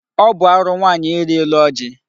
Ọ bụ arụ nwaanyị iri elu ọjị.